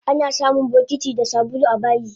Anasamun bokiti da sabulu abayi